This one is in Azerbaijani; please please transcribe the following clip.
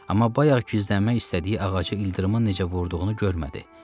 Amma bayaq gizlənmək istədiyi ağaca ildırımın necə vurduğunu görmədi.